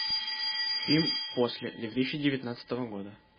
фильм после две тысячи девятнадцатого года